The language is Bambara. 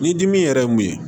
Ni dimi yɛrɛ ye mun ye